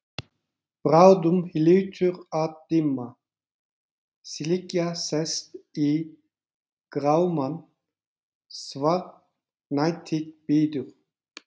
Bráðum hlýtur að dimma, slikja sest í grámann, svartnættið bíður.